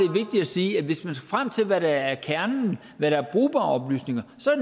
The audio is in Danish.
sige at hvis man skal frem til hvad der er kernen hvad der er brugbare oplysninger så